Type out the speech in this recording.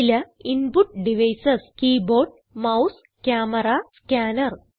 ചില input devices keyboard mouse camera scanner